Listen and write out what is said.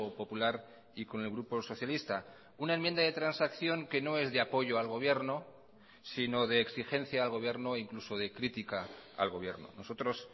popular y con el grupo socialista una enmienda de transacción que no es de apoyo al gobierno sino de exigencia al gobierno incluso de crítica al gobierno nosotros